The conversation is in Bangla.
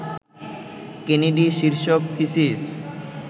কেনেডি শীর্ষক থিসিস